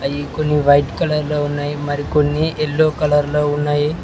అయ్యి కొన్ని white colour లో ఉన్నయి మరికొన్ని యెల్లో కలర్ లో ఉన్నయి.